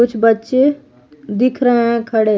कुछ बच्चे दिख रहे हैं खड़े।